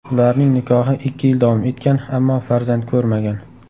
Ularning nikohi ikki yil davom etgan, ammo farzand ko‘rmagan.